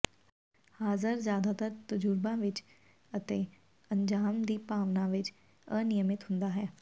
ਹਾਜ਼ਰ ਜ਼ਿਆਦਾਤਰ ਤਜ਼ੁਰਬਾਂ ਵਿਚ ਅਤੇ ਅੰਜਾਮ ਦੀ ਭਾਵਨਾ ਵਿਚ ਅਨਿਯਮਿਤ ਹੁੰਦਾ ਹੈ